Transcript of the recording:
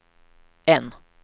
N